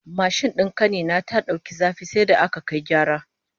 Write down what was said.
Mashin din kani na ta dauki zafi sai da aka kai gyara